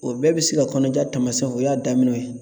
O bɛɛ bɛ se ka kɔnɔja taamasiyɛnw o y'a daminɛw ye